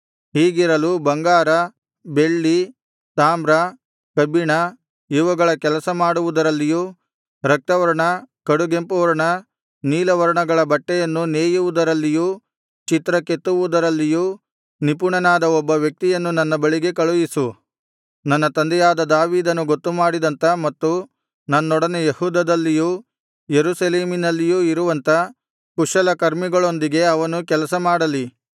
ಹೀಗಿರಲು ಬಂಗಾರ ಬೆಳ್ಳಿ ತಾಮ್ರ ಕಬ್ಬಿಣ ಇವುಗಳ ಕೆಲಸ ಮಾಡುವುದರಲ್ಲಿಯೂ ರಕ್ತವರ್ಣ ಕಡುಗೆಂಪುವರ್ಣ ನೀಲವರ್ಣಗಳ ಬಟ್ಟೆಯನ್ನು ನೇಯುವುದರಲ್ಲಿಯೂ ಚಿತ್ರ ಕೆತ್ತುವುದರಲ್ಲಿಯೂ ನಿಪುಣನಾದ ಒಬ್ಬ ವ್ಯಕ್ತಿಯನ್ನು ನನ್ನ ಬಳಿಗೆ ಕಳುಹಿಸು ನನ್ನ ತಂದೆಯಾದ ದಾವೀದನು ಗೊತ್ತುಮಾಡಿದಂಥ ಮತ್ತು ನನ್ನೊಡನೆ ಯೆಹೂದದಲ್ಲಿಯೂ ಯೆರೂಸಲೇಮಿನಲ್ಲಿಯೂ ಇರುವಂಥ ಕುಶಲಕರ್ಮಿಗಳೊಂದಿಗೆ ಅವನು ಕೆಲಸ ಮಾಡಲಿ